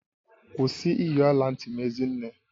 Kwụsị iyi ọla ntị m Ezinne!